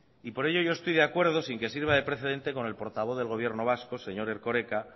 por ello yo estoy de acuerdo sin que sirva de precedente con el portavoz del gobierno vasco señor erkoreka